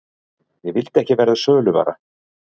Ég vildi ekki verða söluvara.